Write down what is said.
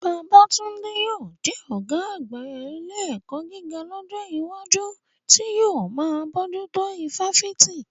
Babatunde yóò jẹ́ ọ̀gá àgbà ilé ẹ̀kọ́ gíga lọ́jọ́ iwájú, tí yóò máa bójú tó ifáfitì.